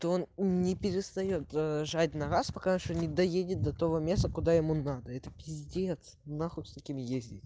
то он не перестаёт жать на газ пока что не доедет до того места куда ему надо это пиздец на хуй с такими ездить